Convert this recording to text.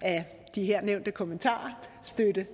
af de her nævnte kommentarer støtte